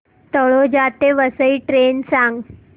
तळोजा ते वसई ट्रेन सांग